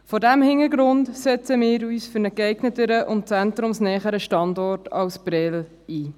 Vor diesem Hintergrund setzen wir uns für einen geeigneteren und zentrumsnäheren Standort als Prêles ein.